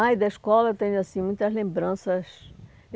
Ah, da escola eu tenho assim muitas lembranças.